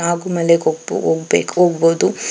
ಹಾಗು ಮಲೆಗೆ ಹೋಗ್ ಹೋಗ್ಬೇಕು ಹೋಗಬೋದು .